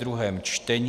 druhé čtení